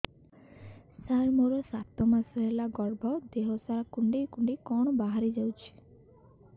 ସାର ମୋର ସାତ ମାସ ହେଲା ଗର୍ଭ ଦେହ ସାରା କୁଂଡେଇ କୁଂଡେଇ କଣ ବାହାରି ଯାଉଛି